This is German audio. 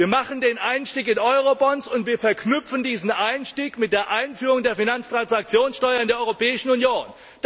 Wir machen den Einstieg in Eurobonds und wir verknüpfen diesen Einstieg mit der Einführung der Finanztransaktionssteuer in der Europäischen Union.